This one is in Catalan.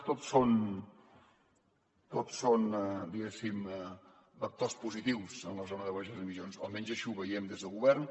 tot són diguéssim vectors positius en la zona de baixes emissions o almenys així ho veiem des del govern